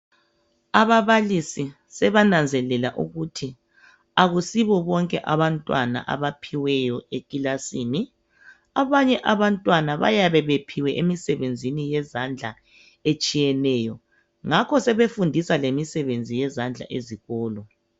Ababalisi sebananzelela ukuthi akusibo bonke abantwana abaphiweyo ekilasini, abanye abantwana bayabe bephiwe emsebenzini yezandla etshiyeneyo, ngakho sebefundisa lemisebenzi yezandla ezikolo.